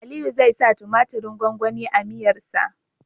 Aliyu zai sa tumatirin gwangwani a miyar sa